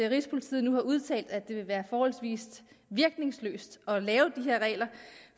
rigspolitiet nu har udtalt at det vil være forholdsvis virkningsløst at lave de her regler